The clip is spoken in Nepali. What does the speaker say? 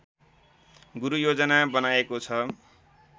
गुरूयोजना बनाएको छ